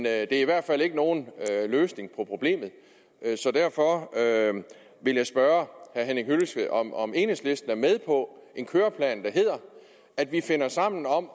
er i hvert fald ikke nogen løsning på problemet derfor vil jeg spørge herre henning hyllested om om enhedslisten er med på en køreplan der hedder at vi finder sammen om at